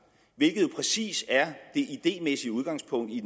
hvilket jo præcis er det idémæssige udgangspunkt i